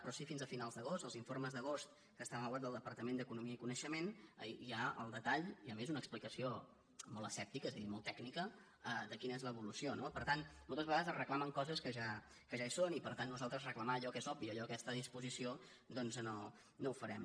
però sí fins a fi·nals d’agost als informes d’agost que estan a la web del departament d’economia i coneixement hi ha el detall i a més una explicació molt asèptica és a dir molt tècnica de quina és l’evolució no per tant mol·tes vegades es reclamen coses que ja hi són i per tant nosaltres reclamar allò que és obvi allò que ja està a disposició doncs no ho farem